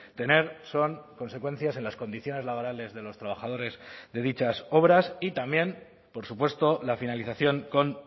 tener son consecuencias en las condiciones laborales de los trabajadores de dichas obras y también por supuesto la finalización con